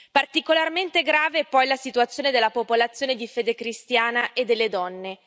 Particolarmente grave è poi la situazione della popolazione di fede cristiana e delle donne.